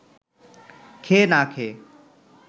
খেয়ে না খেয়ে